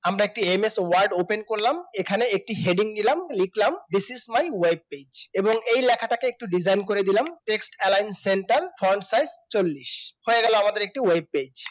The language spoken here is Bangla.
আমরা একটি ms work open করলাম এখানে একটি heading দিলাম লিখলাম this is my web page এবং এই লেখাটিকে একটু design করে দিলাম text alien centerfront size চল্লিশ হয়ে গেল আমাদের একটি web page